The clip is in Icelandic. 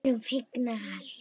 Við erum fegnar.